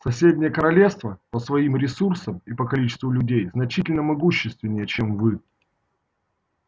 соседние королевства по своим ресурсам и по количеству людей значительно могущественнее чем вы